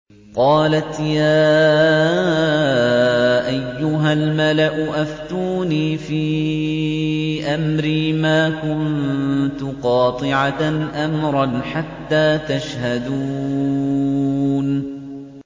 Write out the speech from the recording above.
قَالَتْ يَا أَيُّهَا الْمَلَأُ أَفْتُونِي فِي أَمْرِي مَا كُنتُ قَاطِعَةً أَمْرًا حَتَّىٰ تَشْهَدُونِ